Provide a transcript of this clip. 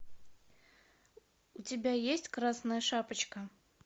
у тебя есть красная шапочка